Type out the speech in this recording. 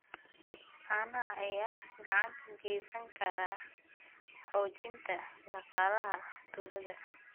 Caanaha ayaa gacan ka geysan kara xoojinta dhaqaalaha tuulada.